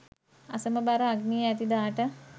අසමබර අග්නිය ඇති දාට